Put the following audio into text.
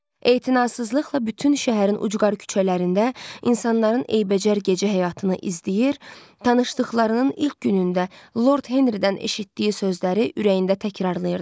Etinasızlıqla bütün şəhərin ucqar küçələrində insanların eybəcər gecə həyatını izləyir, tanışlıqlarının ilk günündə Lord Henridən eşitdiyi sözləri ürəyində təkrarlayırdı.